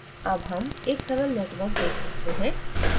अब हम एक सरल network देख सकते हैं